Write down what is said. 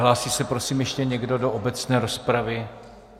Hlásí se, prosím, ještě někdo do obecné rozpravy?